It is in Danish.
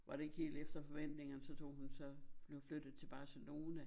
Var det ikke helt efter forventingerne så tog hun så nu flyttede til Barcelona